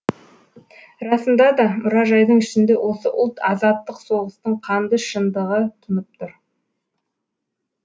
расында да мұражайдың ішінде осы ұлт азаттық соғыстың қанды шындығы тұнып тұр